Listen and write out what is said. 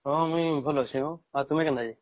ହଁ ମୁଇ ଭଲ ଅଛେ ହୋ ଆଉ ତୁମେ କେନ୍ତା ଅଛ